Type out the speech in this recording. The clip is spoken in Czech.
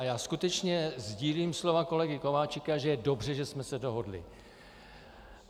A já skutečně sdílím slova kolegy Kováčika, že je dobře, že jsme se dohodli.